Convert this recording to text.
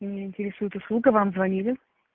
меня интересует услуга вам звонили